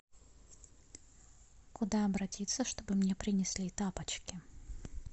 куда обратиться чтобы мне принесли тапочки